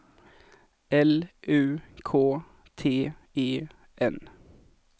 L U K T E N